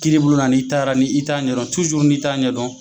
Kiiri bulon na n'i taara ni i t'a ɲɛdɔn ni t'a ɲɛdɔn